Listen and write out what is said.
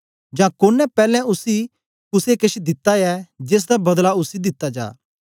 जां कोने पैलैं उसी कुसे केछ दिता ऐ जेसदा बदला उसी दिता जा